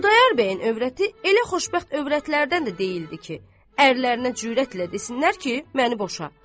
Xudayar bəyin övrəti elə xoşbəxt övrətlərdən də deyildi ki, ərlərinə cürətlə desinlər ki, məni boşa.